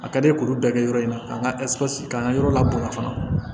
A ka di ye k'olu bɛɛ kɛ yɔrɔ in na k'an ka k'an ka yɔrɔ la bonya fana